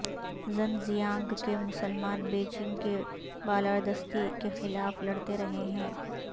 ژن زیانگ کے مسلمان بیجنگ کی بالادستی کے خلاف لڑتے رہے ہیں